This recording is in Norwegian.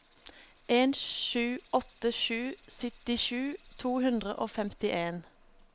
en sju åtte sju syttisju to hundre og femtien